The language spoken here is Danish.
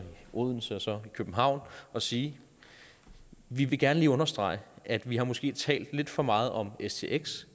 odense og så i københavn og sige vi vil gerne lige understrege at vi måske har talt lidt for meget om stx